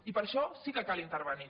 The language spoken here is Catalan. i per això sí que cal intervenir